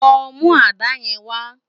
Lò mú àdá yèn wá